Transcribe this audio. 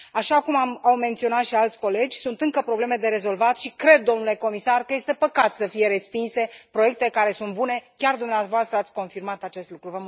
Așa cum au menționat și alți colegi sunt încă probleme de rezolvat și cred, domnule comisar, că este păcat să fie respinse proiecte care sunt bune, chiar dumneavoastră ați confirmat acest lucru.